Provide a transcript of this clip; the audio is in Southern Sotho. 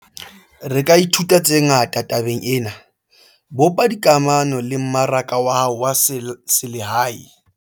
Re ka ithuta tse ngata tabeng ena - bopa dikamano le mmaraka wa hao wa selehae.